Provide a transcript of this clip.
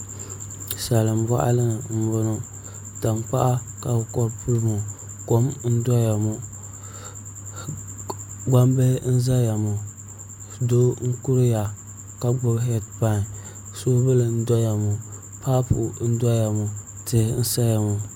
Salin boɣali ni n boŋo tankpaɣu ka bi kori puli maa kom n doya ŋo gbambili n ʒɛya ŋo doo n kuriya ka gbubi heed pai soobuli n doya ŋo paapu n doya ŋo tihi n saya ŋo